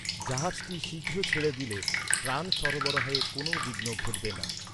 জাহাজটি শীঘ্র ছেড়ে দিলে ত্রাণ সরবরাহে কোনো বিঘ্ন ঘটবে না।